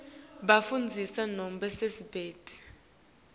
bafundzisi nobe sisebenti